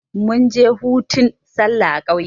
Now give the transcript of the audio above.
munje hutun sallah a kauye